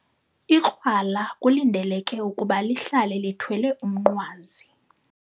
Ikrwala kulindeleke ukuba lihlale lithwele umnqwazi.